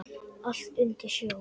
Allt undir snjó.